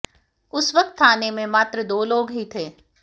उस वक्त थाने में मात्र दो लोग ही थे